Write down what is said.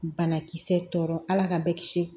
Banakisɛ tɔ ala ka bɛɛ kisi